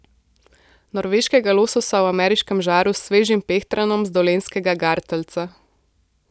Norveškega lososa v ameriškem žaru s svežim pehtranom z dolenjskega gartlca.